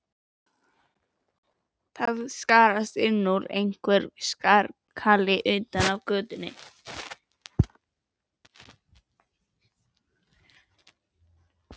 Það skarst inn úr honum einhver skarkali utan af götunni.